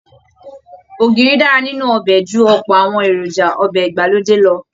Ògìrì dára nínú ọbẹ̀ ju ọ̀pọ̀ àwọn èròjà ọbẹ̀ ìgbàlódé lọ